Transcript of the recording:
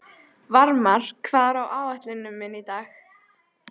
Varmar, hvað er á áætluninni minni í dag?